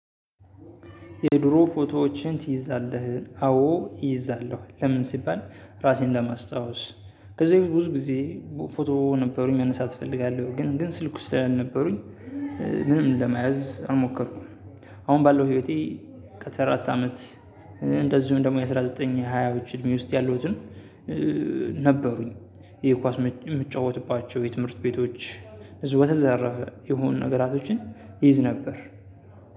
የድሮ ፎቶዎችን ትይዛለህ? አዎ እይዛለሁ። ለምን ሲባል ራሴን ለማስታወስ። ከዚህ በፊተ ብዙ ጊዜ ፎቶ ነበሩኝ መነሳት እፈልጋለሁ ግን ግን ስልኩ ስላልነበሩኝ ምንም ለመያዝ አልሞከርኩም። አሁን ባለው ህይወቴ። ከተራ አራት አመት። እንደዚሁም ደግሞ የአስራ ዘጠኝ የአንድ ሺህ ዘጠኝ መቶ ሃያዎቹ እድሜ ውስጥ ያሉትን ነበሩኝ። ይሄ ኳስ የምትጫወትባቸው የትምህርት ቤቶች። የሆኑ ነገራቶችን ይይዝ ነበር።